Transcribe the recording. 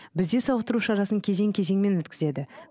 бізде сауықтыру шарасын кезең кезеңмен өткізеді